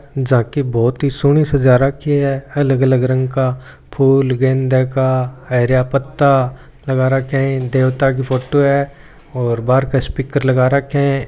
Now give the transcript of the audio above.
झाँकी बहुत ही सोणी सजा रखी है अलग अलग रंग का फूल गेंदे का हरिया पत्ता लगा रखिया है देवता का फोटो है और बहार क स्पीकर लगा राख्या है।